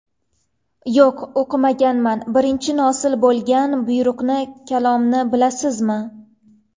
Yo‘q, o‘qimaganman... Birinchi nozil bo‘lgan buyruqni, kalomni bilasizmi?